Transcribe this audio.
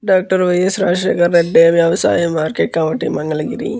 Doctor YS Rajasekhar Reddy వ్యవసాయ market committee Mangalagiri.